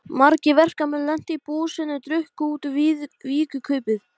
Ég kæri mig ekki um að fá þá núna.